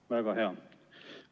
Väga hea.